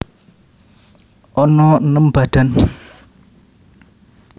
Ana enem badan